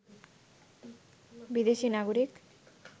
বিদেশি নাগরিক